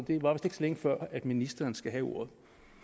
længe før ministeren skal have ordet